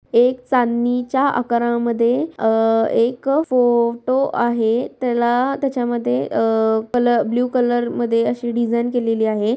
एक चांदणीच्या आकारामध्ये अ एक फोटो आहे त्याला त्याच्यामध्ये अ कलर ब्लू कलर मध्ये अशी डिज़ाइन केलेली आहे.